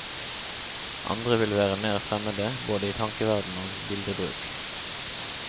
Andre vil være mer fremmede, både i tankeverden og bildebruk.